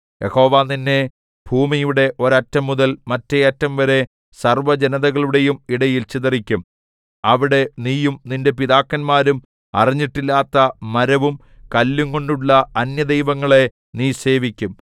യഹോവ നിന്നെ ഭൂമിയുടെ ഒരറ്റംമുതൽ മറ്റെ അറ്റംവരെ സർവ്വജനതകളുടെയും ഇടയിൽ ചിതറിക്കും അവിടെ നീയും നിന്റെ പിതാക്കന്മാരും അറിഞ്ഞിട്ടില്ലാത്ത മരവും കല്ലുംകൊണ്ടുള്ള അന്യദൈവങ്ങളെ നീ സേവിക്കും